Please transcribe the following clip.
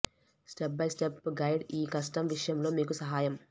step by step guide ఈ కష్టం విషయంలో మీకు సహాయం